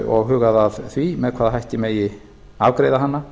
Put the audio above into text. og hugað að því með hvaða hætti megi afgreiða hana